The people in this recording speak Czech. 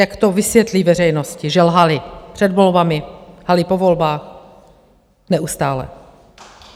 Jak to vysvětlí veřejnosti, že lhali před volbami, lhali po volbách, neustále.